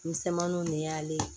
Misɛnmaninw de y'ale